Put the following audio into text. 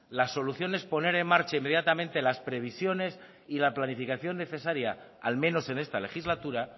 las solución es poner en marcha inmediatamente las previsiones y la planificación necesaria al menos en esta legislatura